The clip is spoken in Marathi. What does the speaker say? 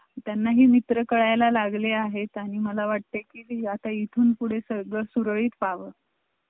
ती त्यांना हि मित्र काढायला लागलं आहे त्यांनी मला वाटतं कि ह्याचा इथून कडे सर्ग सुळेही पाहावं